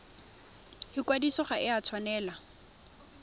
ikwadiso ga e a tshwanela